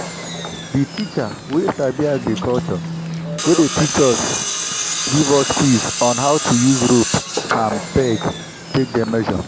the teacher we sabi agriculture wey dey teach us give us quiz on how to use rope and peg take dey measure